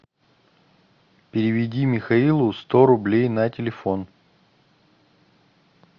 переведи михаилу сто рублей на телефон